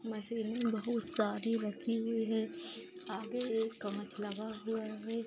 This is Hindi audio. मशीन बहुत सारी रखी हुई हैं आगे एक कांच लगा हुआ है ।